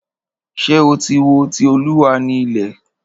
Ṣé o tí wo "Ti Olúwa ni ilẹ̀"?